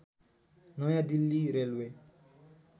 नयाँ दिल्ली रेलवे